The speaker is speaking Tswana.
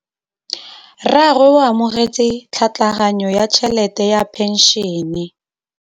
Rragwe o amogetse tlhatlhaganyô ya tšhelête ya phenšene.